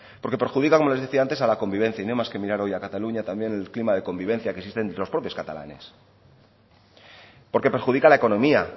porque perjudica como les decía antes a la convivencia y no hay más que mirar hoy a cataluña también el clima de convivencia que existen entre los propios catalanes porque perjudica la economía